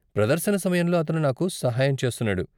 ప్రదర్శన సమయంలో అతను నాకు సహాయం చేస్తున్నాడు.